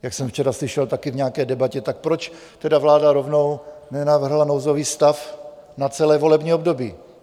Jak jsem včera slyšel taky v nějaké debatě, tak proč teda vláda rovnou nenavrhla nouzový stav na celé volební období?